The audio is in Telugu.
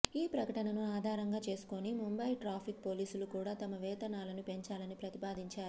ఈ ప్రకటనను ఆధారంగా చేసుకుని ముంబయి ట్రాఫిక్ పోలీసులు కూడా తమ వేతనాలను పెంచాలని ప్రతిపాదించారు